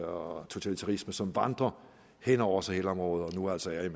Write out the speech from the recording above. og totalitarisme som vandrer hen over sahelområdet og nu altså er